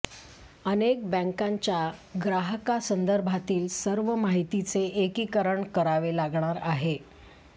अनेक बॅंकांच्या ग्राहकांसंदर्भातील सर्व माहितीचे एकीकरण करावे लागणार आहे